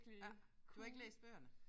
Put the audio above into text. Ja. Du har ikke læst bøgerne?